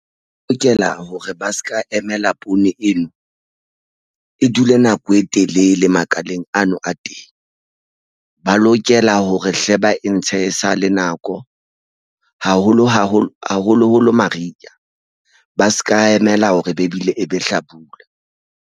O lokela hore ba se ka emela poone eno e dule nako e telele makaleng ano a teng. Ba lokela hore hle ba entshe sa le nako haholo haholo haholo holo mariha ba se ka emela hore be ebile e be hlabula.